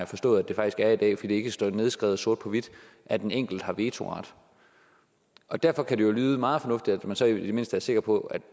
forstået at det er i dag fordi det ikke står nedskrevet sort på hvidt at en enkelt har vetoret derfor kan det jo lyde meget fornuftigt at man så i det mindste er sikker på at